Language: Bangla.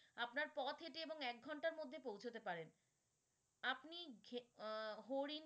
আপনার পথ হেঁটে এবং এক ঘন্টার মধ্যে পৌঁছাতে পারেন। আপনি আহ হরিণ